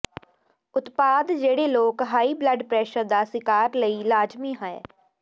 ਉਤਪਾਦ ਜਿਹੜੇ ਲੋਕ ਹਾਈ ਬਲੱਡ ਪ੍ਰੈਸ਼ਰ ਦਾ ਸ਼ਿਕਾਰ ਲਈ ਲਾਜ਼ਮੀ ਹੈ